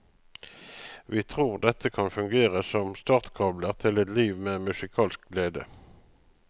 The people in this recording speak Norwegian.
Vi tror at dette kan fungere som startkabler til et liv med musikalsk glede.